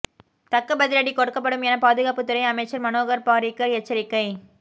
தக்க பதிலடி கொடுக்கப்படும் என பாதுகாப்புத்துறை அமைச்சர் மனோகர் பாரிக்கர் எச்சரிக்கை